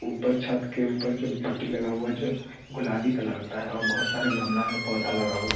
ऊपर छत के ऊपर जो पट्टी लगा हुआ जो गुलाबी कलर का है और बहोत सारे गमला में पौधा लगा हुआ--